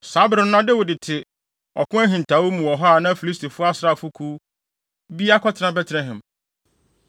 Saa bere no na Dawid te ɔko ahintawee mu hɔ a na Filistifo asraafokuw bi akɔtena Betlehem.